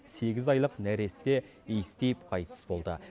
сегіз айлық нәресте иіс тиіп қайтыс болды